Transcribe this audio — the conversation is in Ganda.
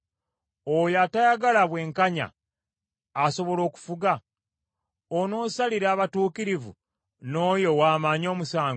Oyo atayagala bwenkanya asobola okufuga? Onoosalira abatuukirivu n’oyo ow’amaanyi omusango?